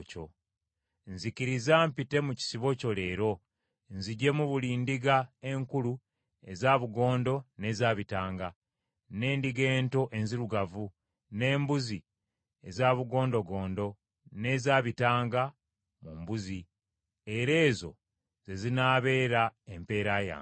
nzikiriza mpite mu kisibo kyo leero, nziggyemu buli ndiga enkulu eza bugondo n’eza bitanga, n’endiga ento enzirugavu, n’embuzi eza bugondogondo n’ezabitanga mu mbuzi, era ezo ze zinaabeera empeera yange.